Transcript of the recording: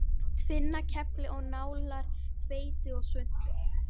Tvinnakefli og nálar, hveiti og svuntur.